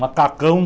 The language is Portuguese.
Macacão.